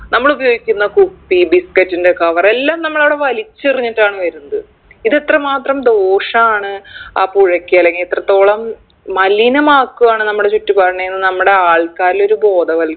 നമ്മളുപയോഗിക്കുന്ന കുപ്പി biscuit ൻറെ cover എല്ലാം നമ്മളവിടെ വലിച്ചെറിഞ്ഞിട്ടാണ് വരുന്നത് ഇതെത്ര മാത്രം ദോഷാണ് ആ പുഴയ്ക്ക് അല്ലെങ്കി എത്രത്തോളം മലിനമാക്കുവാണ് നമ്മടെ ചുറ്റുപാടിനെയും നമ്മടെ ആൾക്കാരിലൊരു ബോധവൽ